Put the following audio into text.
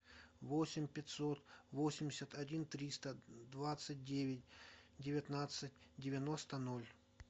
восемь пятьсот восемьдесят один триста двадцать девять девятнадцать девяносто ноль